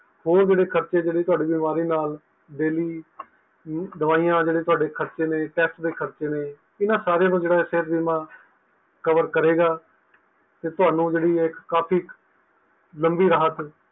ਹੋਰ ਜਿਹੜੇ ਖਰਚੇ ਥੋੜੇ ਬਿਮਾਰੀ ਨਾਲ daily ਦਵਾਈ ਦੇ ਖਰਚੇ test ਦੇ ਖਰਚੇ ਨੇ ਇਹਨਾਂ ਸਾਰਿਆਂ ਦਾ ਜਿਹੜਾ ਇੱਕ ਬੀਮਾ cover ਕਰੇਗਾ ਤੇ ਤੁਹਾਨੂੰ ਇੱਕ ਕਾਫੀ ਲੰਬੀ ਰਾਹਤ